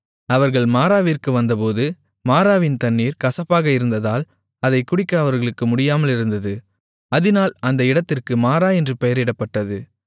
அவர்கள் மாராவிற்கு வந்தபோது மாராவின் தண்ணீர் கசப்பாக இருந்ததால் அதைக் குடிக்க அவர்களுக்கு முடியாமல் இருந்தது அதினால் அந்த இடத்திற்கு மாரா என்று பெயரிடப்பட்டது